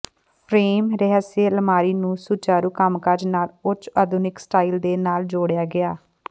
frame ਰਸਹੈ ਅਲਮਾਰੀ ਨੂੰ ਸੁਚਾਰੂ ਕੰਮਕਾਜ ਨਾਲ ਉੱਚ ਆਧੁਨਿਕ ਸਟਾਈਲ ਦੇ ਨਾਲ ਜੋੜਿਆ ਗਿਆ